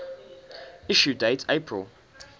issue date april